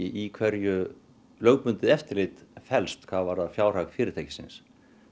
í hverju lögbundið eftirlit felst hvað varðar fjárhag fyrirtækisins